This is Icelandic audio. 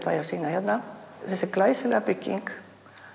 að sýna hérna þessi glæsilega bygging